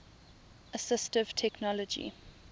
assistive technology